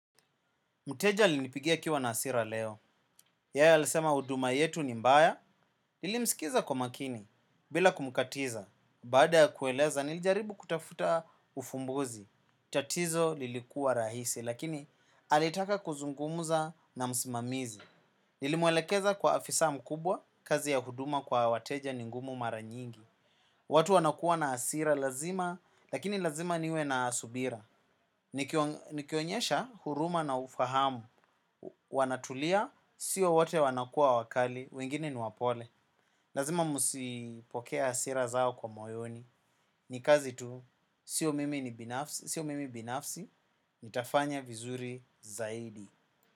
Mteja alinipigia akiwa na hasira leo, yeye alisema huduma yetu ni mbaya, nilimskiza kwa makini, bila kumkatiza, baada ya kueleza nilijaribu kutafuta ufumbuzi, tatizo lilikuwa rahisi, lakini alitaka kuzungumuza na msimamizi. Nilimwelekeza kwa afisa mkubwa, kazi ya huduma kwa wateja ningumu maranyingi. Watu wanakuwa na hasira lazima, lakini lazima niwe na subira. Nikionyesha huruma na ufahamu. Wanatulia, siyo wote wanakuwa wakali, wengine niwapole. Lazima musipokee hasira zao kwa moyoni. Nikazi tu, siyo mimi binafsi, ni tafanya vizuri zaidi.